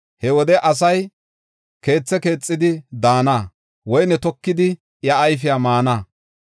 He wode asay keethe keexidi daana; woyne tokidi iya ayfiya maana.